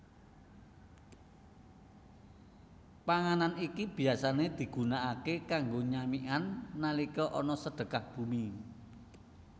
Panganan iki biasané digunakaké kanggo nyamikan nalika ana Sedekah Bumi